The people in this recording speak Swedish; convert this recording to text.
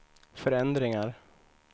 förändringar